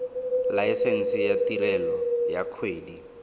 laesense ya tirelo ya kgwebo